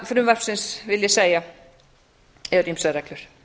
frumvarpsins vil ég segja eru ýmsar reglur